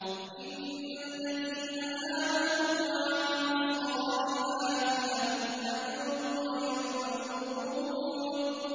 إِنَّ الَّذِينَ آمَنُوا وَعَمِلُوا الصَّالِحَاتِ لَهُمْ أَجْرٌ غَيْرُ مَمْنُونٍ